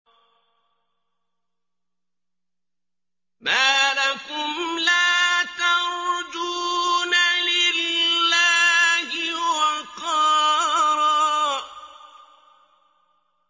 مَّا لَكُمْ لَا تَرْجُونَ لِلَّهِ وَقَارًا